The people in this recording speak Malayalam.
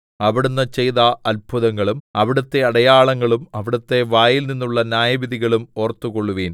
അവിടുന്ന് ചെയ്ത അത്ഭുതങ്ങളും അവിടുത്തെ അടയാളങ്ങളും അവിടുത്തെ വായിൽനിന്നുള്ള ന്യായവിധികളും ഓർത്തുകൊള്ളുവിൻ